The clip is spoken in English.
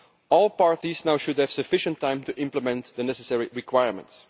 All parties should now have sufficient time to implement the necessary requirements.